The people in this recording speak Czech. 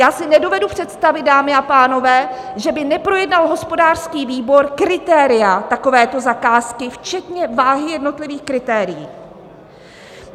Já si nedovedu představit, dámy a pánové, že by neprojednal hospodářský výbor kritéria takovéto zakázky, včetně váhy jednotlivých kritérií.